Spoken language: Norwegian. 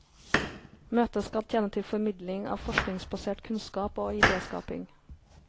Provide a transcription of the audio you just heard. Møtet skal tjene til formidling av forskningsbasert kunnskap og ideskaping.